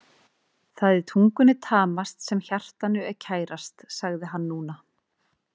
Það er tungunni tamast sem hjartanu er kærast, sagði hann núna.